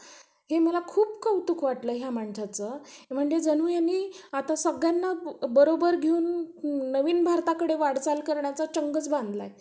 त्यांना सवय लागतात बस बसायची. खूप जण तर बसत पण नसतात. कारण कि सवयच नसते तर, खूप लहान लेकरे पळून पण येतात. तर पहिले पण तसं,